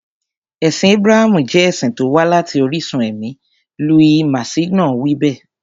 Ẹ̀sìn Ábúráhámù jẹ́ ẹ̀sìn tó wá láti orísun ẹ̀mí, Louis Massignon wí bẹ́ẹ̀.